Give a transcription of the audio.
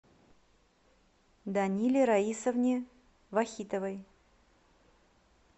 даниле раисовне вахитовой